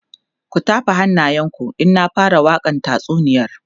ku tafa hannayen ku in na fara wakan tatsuniyar